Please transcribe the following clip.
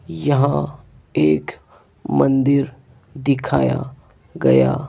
यहां एक मंदिर दिखाया गया--